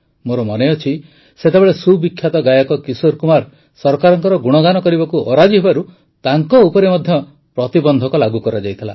ମୋର ମନେ ଅଛି ସେତେବେଳେ ସୁବିଖ୍ୟାତ ଗାୟକ କିଶୋର କୁମାର ସରକାରଙ୍କ ଗୁଣଗାନ କରିବାକୁ ଅରାଜି ହେବାରୁ ତାଙ୍କ ଉପରେ ମଧ୍ୟ ପ୍ରତିବନ୍ଧକ ଲାଗୁ କରାଯାଇଥିଲା